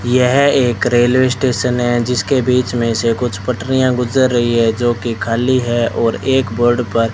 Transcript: यह एक railway station है जिसके बीच में से कुछ पटरिया गुजर रहीं हैं जो की खाली है और एक बोर्ड पर --